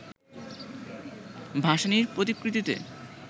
ভাসানির প্রতিকৃতিতে